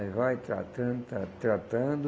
Aí vai tratando, tra tratando.